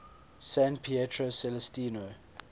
san pietro celestino